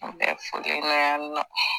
Aw bɛɛ folen don yannɔ